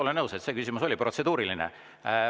Olen nõus, et see küsimus oli protseduuriline.